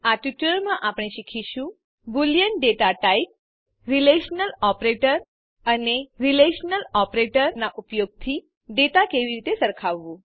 આ ટ્યુટોરીયલમાં આપણે શીખીશું boolean data type relational operator અને રીલેશનલ ઓપરેટરના ઉપયોગથી ડેટા કેવી રીતે સરખાવવું